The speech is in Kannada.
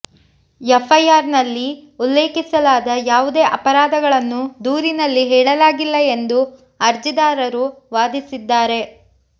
ಎಫ್ಐಆರ್ ನಲ್ಲಿ ಉಲ್ಲೇಖಿಸಲಾದ ಯಾವುದೇ ಅಪರಾಧಗಳನ್ನು ದೂರಿನಲ್ಲಿ ಹೇಳಲಾಗಿಲ್ಲ ಎಂದು ಅರ್ಜಿದಾರರು ವಾದಿಸಿದ್ದಾರೆ